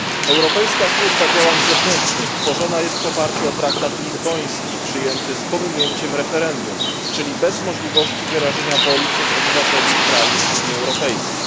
Europejska Służba Działań Zewnętrznych tworzona jest w oparciu o traktat lizboński przyjęty z pominięciem referendum, czyli bez możliwości wyrażenia woli przez obywateli państw Unii Europejskiej.